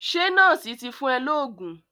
Ṣé nọ́ọ̀sì ti fún ẹ lóògùn?